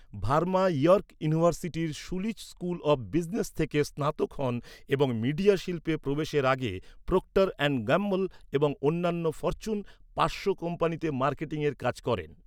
Verma York ইউনিভার্সিটির Schulich School of Business থেকে স্নাতক হন এবং মিডিয়া শিল্পে প্রবেশের আগে প্রক্টর অ্যান্ড গ্যাম্বল এবং অন্যান্য ফরচুন পাঁচশো কোম্পানিতে মার্কেটিংয়ে কাজ করেন।